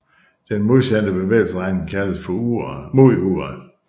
Den modsatte bevægelsesretning kaldes mod uret